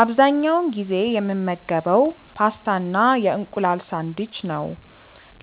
አብዛኛውን ጊዜ የምመገበው ፓስታ እና የእንቁላል ሳንድዊች ነው።